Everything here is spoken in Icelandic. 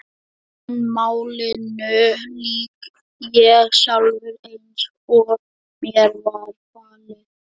En málinu lýk ég sjálfur, eins og mér var falið.